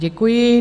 Děkuji.